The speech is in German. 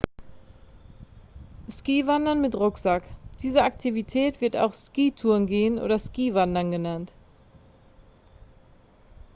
skiwandern mit rucksack diese aktivität wird auch skitourengehen oder skiwandern genannt